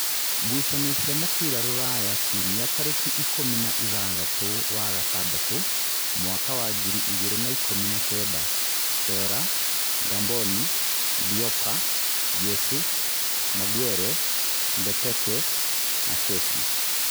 Ngucanio cia mũbira Rūraya Kiumia tarĩki ikũmi na ithathatũ wa gatandatũ mwaka wa ngiri igĩrĩ na ikũmi na-kenda: Sera, Ngamboni, Ndiopa, Jesu, Maguere, Mbeteke, Kesi